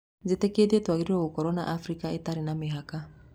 "Njĩtĩkĩtie twagĩrĩirwo gũkorwo na Afrika ĩtarĩ na mĩhaka ."